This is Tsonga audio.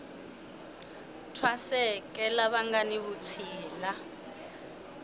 thwaseke lava nga ni vutshila